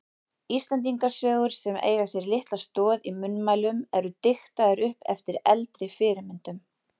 Íslendingasögur sem eiga sér litla stoð í munnmælum eru diktaðar upp eftir eldri fyrirmyndum.